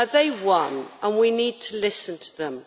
They won, and we need to listen to them.